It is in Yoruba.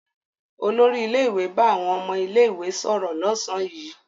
Olórí ilé-ìwé bá àwọn ọmọ ilé-ìwé sọ̀rọ̀ lọ́sàn-án yìí.